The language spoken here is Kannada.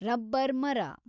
ರಬ್ಬರ್‌ ಮರ